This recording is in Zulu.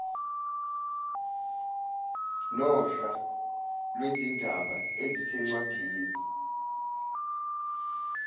nohla lwezindaba ezisencwadini